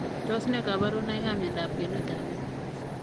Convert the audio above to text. Tos ne kabarunoik ap miondop kwenuut ap metit?